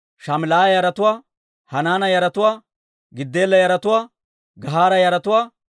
Raas'iina yaratuwaa, Nak'oda yaratuwaa, Gazzaama yaratuwaa,